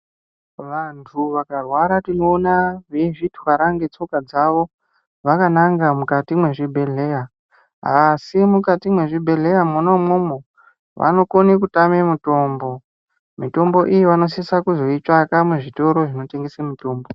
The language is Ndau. Vantu vakarwara tinoona veizvitwara ngetsoka dzavo vakananga mukati mwezvibhedhleya asi mukati mwezvibhedhleya mwona imwomwo vanokone kutama mitombo, mitombo iyi vanosisa kuzoitsvaka muzvitoro zvinotengese mitombo.